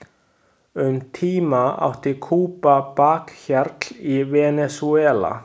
Um tíma átti Kúba bakhjarl í Venesúela.